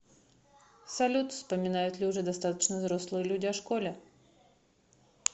салют вспоминают ли уже достаточно взрослые люди о школе